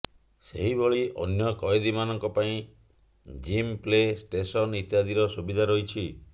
ସେହିଭଳି ଅନ୍ୟ କଏଦୀମାନଙ୍କ ପାଇଁ ଜିମ ପ୍ଲେ ଷ୍ଟେସନ ଇତ୍ୟାଦିର ସୁବିଧା ରହିଛି